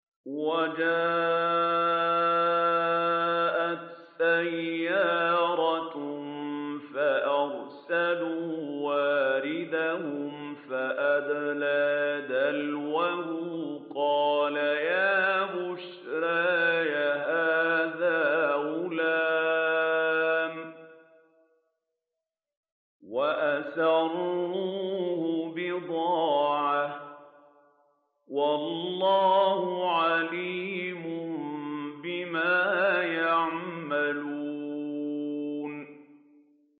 وَجَاءَتْ سَيَّارَةٌ فَأَرْسَلُوا وَارِدَهُمْ فَأَدْلَىٰ دَلْوَهُ ۖ قَالَ يَا بُشْرَىٰ هَٰذَا غُلَامٌ ۚ وَأَسَرُّوهُ بِضَاعَةً ۚ وَاللَّهُ عَلِيمٌ بِمَا يَعْمَلُونَ